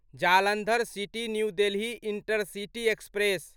Jalandhar city New Delhi intercity express